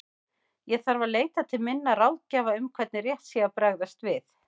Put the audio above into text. Ég þarf að leita til minna ráðgjafa um hvernig rétt sé að bregðast við.